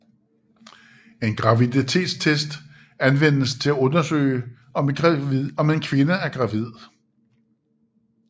En graviditetstest anvendes til at undersøge om en kvinde er gravid